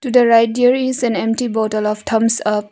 To the right there is an empty bottle of thumbs up.